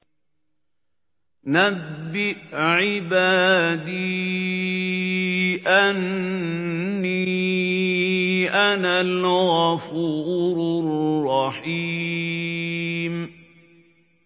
۞ نَبِّئْ عِبَادِي أَنِّي أَنَا الْغَفُورُ الرَّحِيمُ